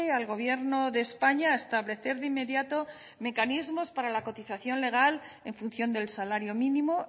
al gobierno de españa a establecer de inmediato mecanismos para la cotización legal en función del salario mínimo